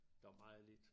Der var jo lidt